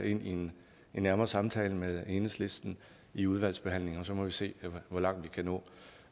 i en nærmere samtale med enhedslisten i udvalgsbehandlingen og så må vi se hvor langt vi kan nå